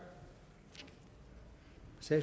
så